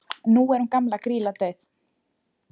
nú er hún gamla grýla dauð